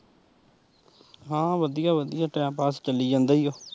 ਹਾਂ ਵਧੀਆ ਵਧੀਆ time pass ਚਲੀ ਜਾਂਦਾ ਈ ਓ।